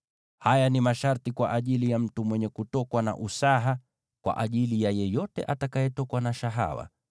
Haya ni masharti kwa ajili ya mtu mwenye kutokwa na usaha, kwa ajili ya yeyote atakayetokwa na shahawa,